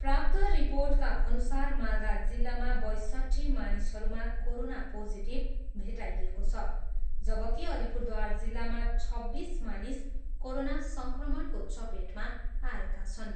प्राप्त रिर्पोटका अनुसार मालदा जिल्लामा बयसट्ठी मानिसहरूमा कोरोना पोजिटिभ भेटाइएको छ, जबकि अलिपुरद्वार जिल्लामा छब्बिस मानिस कोरोना सङ्क्रमणको चपेटमा आएका छन्।